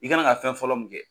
I kan ka fɛn fɔlɔ min kɛ,